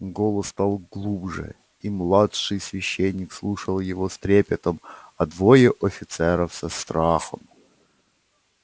голос стал глубже и младший священник слушал его с трепетом а двое офицеров со страхом